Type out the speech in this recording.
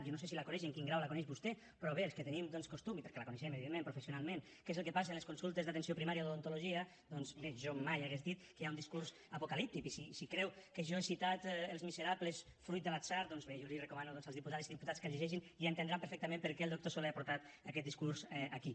jo no sé si la coneix i en quin grau la coneix vostè però bé els que tenim costum i perquè al coneixem evidentment professionalment què és el que passa a les consultes d’atenció primària d’odontologia doncs bé jo mai hauria dit que hi ha un discurs apocalíptic i si creu que jo he citat els miserables fruit de l’atzar doncs bé jo recomano als diputades i diputats que el llegeixin i entendran perfectament per què el doctor soler ha portat aquest discurs aquí